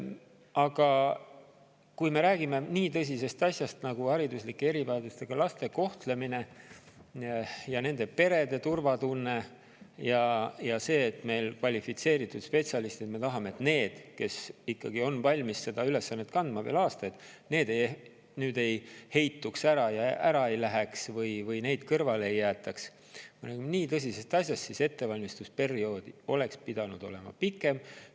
Aga kui me räägime nii tõsisest asjast nagu hariduslike erivajadustega laste kohtlemine ja nende perede turvatunne ja see, et me tahame, et meil kvalifitseeritud spetsialistid – need, kes on valmis seda ülesannet kandma veel aastaid – nüüd ei heituks ja ära ei läheks või neid kõrvale ei jäetaks, siis ettevalmistusperiood oleks pidanud olema pikem.